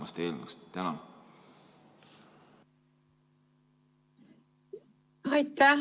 Aitäh!